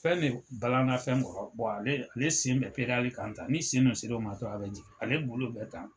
Fɛn de balan na fɛn kɔrɔ ale ale sen bɛ kan tan ni sen dun se la o ma tan a bɛ jigin ale bolo de kan.